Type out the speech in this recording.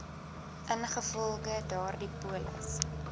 ingevolge daardie polis